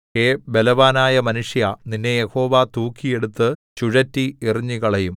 ഹേ ബലവാനായ മനുഷ്യാ നിന്നെ യഹോവ തൂക്കിയെടുത്തു ചുഴറ്റി എറിഞ്ഞുകളയും